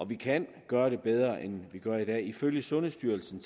vi kan gøre det bedre end vi gør i dag ifølge sundhedsstyrelsen